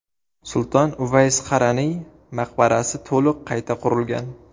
Sulton Uvays Qaraniy maqbarasi to‘liq qayta qurilgan.